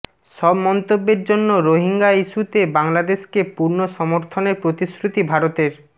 সব মন্তব্যের জন্য রোহিঙ্গা ইস্যুতে বাংলাদেশকে পূর্ণ সমর্থনের প্রতিশ্রুতি ভারতের